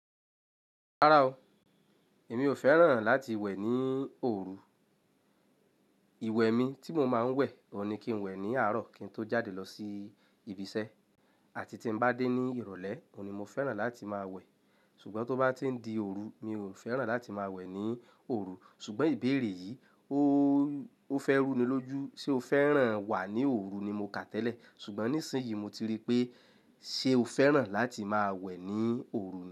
Rárá o, èmi ò fẹ́ràn láti wẹ̀ ní òru. Ìwẹ̀ mi tí mo máa ń wẹ̀, òun ní kí n wẹ̀ ní àárọ̀ kí n tó jáde lọ sí ibi iṣẹ́ àti tí n bá dé ní ìrọ̀lẹ́, òun ni mo fẹ́ràn láti máa wẹ̀. Ṣùgbọ́n tó bá ti ń di òru, mi ò fẹ́ràn láti máa wẹ̀ ní òru. Ṣùgbọ́n ìbéèrè yìí, ó, ó fẹ́ rú ni lójú. Ṣé o fẹ́ràn wà ní òru ni mo kà tẹ́lẹ̀, ṣùgbọ́n nísìnyí mo ti rí pé ṣe o fẹ́ràn láti máa wẹ̀ ní òru ni?